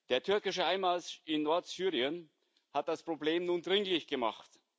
Der türkische Einmarsch in Nordsyrien hat das Problem nun dringlich gemacht.